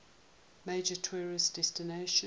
major tourist destination